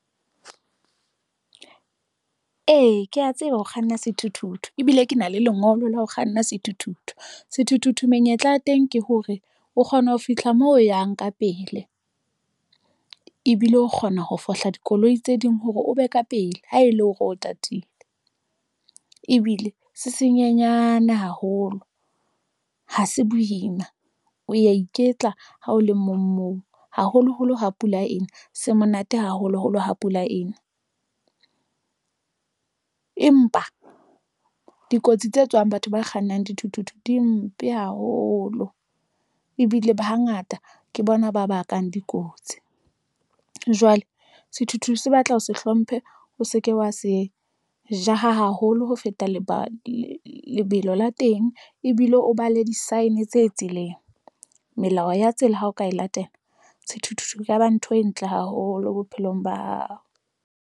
Ee, ke a tseba ho kganna sethuthuthu ebile ke na le lengolo la ho kganna sethuthuthu. Sethuthuthu menyetla ya teng ke hore o kgona ho fihla moo o yang ka pele. Ebile o kgona ho fohla dikoloi tse ding hore o be ka pele, ha e le hore o tatile. Ebile se senyenyana haholo. Ha se boima, o ya iketla ha o le mong moo haholoholo ha pula ena se monate haholoholo ha pula ena. Empa dikotsi tse tswang batho ba kgannang dithuthuthu di mpe haholo. Ebile ba ha ngata ke bona ba bakang dikotsi. Jwale sethuthuthu se batla o se hlomphe, o se ke wa se jaha haholo, ho feta leba lebelo la teng, ebile o bale di-sign tse tseleng. Melao ya tsela ha o ka e latela, sethuthuthu e ka ba ntho e ntle haholo bophelong ba hao.